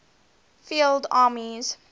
field armies